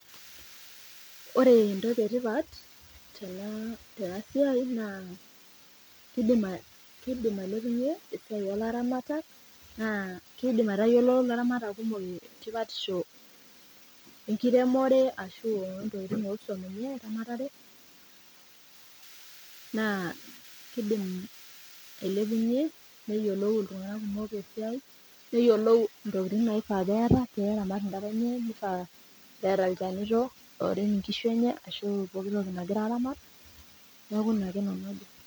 Ore entoki nagira etipat tena siai na kidim ailepunye esiai olaramatak na kidim aitayiolo laramatak kumok tipatisho enkiremore ashu ontokitin nakidm ailepunye neyiolou ntokitin naifaa peeta peramat ntokitin enye ashu eeta ilchanito ooshoki neaku inaka nanu ajo